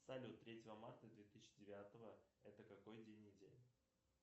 салют третьего марта две тысячи девятого это какой день недели